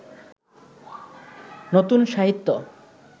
নতুন সাহিত্য